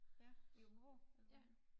Ja i Aabenraa eller hvorhenne